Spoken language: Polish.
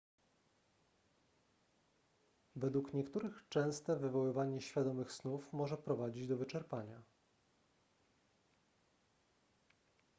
według niektórych częste wywoływanie świadomych snów może prowadzić do wyczerpania